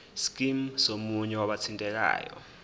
scheme somunye wabathintekayo